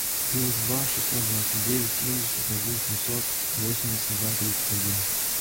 плюс два шестьсот двадцать девять семьдесят один семьсот восемьдесят два тридцать один